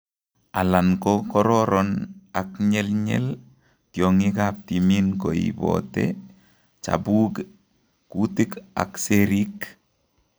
Alan ko koron ak nyelnyel, tiongik ab timin koibotee chabuuk, kuutik ak seriik